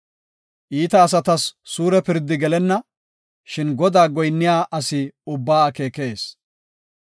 Iita asatas suure pirdi gelenna; shin Godaa goyinniya asi ubbaa akeekes.